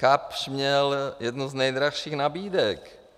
Kapsch měl jednu z nejdražších nabídek.